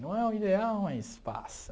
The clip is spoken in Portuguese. Não é o ideal, mas passa.